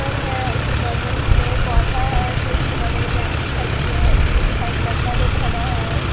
है उसके बगल में पौधा है फिर उसके बगल में लड़की खड़ी है फिर उस साइड लड़का लोग खड़ा है।